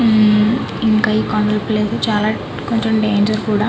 ఉమ్ కొండలు ప్లేస్ చాలా డేంజర్ కూడా --